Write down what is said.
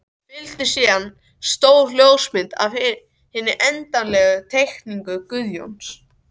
Fylgdi síðan stór ljósmynd af hinni endanlegu teikningu Guðjóns.